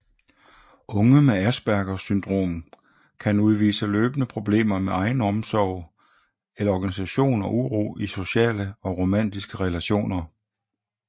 Unge med Aspergers syndrom kan udvise løbende problemer med egenomsorg eller organisation og uro i sociale og romantiske relationer